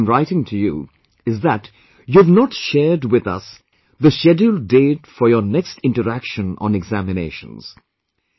The reason I am writing to you is that you have not yet shared with us the scheduled date for your next interaction on examinations